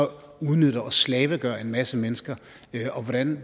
udnytter og slavegør en masse mennesker